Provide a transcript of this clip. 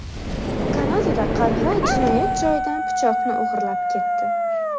Kanadada qarg‘a jinoyat joyidan pichoqni o‘g‘irlab ketdi.